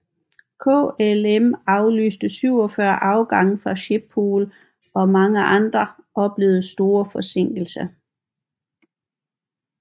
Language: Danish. KLM aflyste 47 afgange fra Schiphol og mange andre oplevede store forsinkelser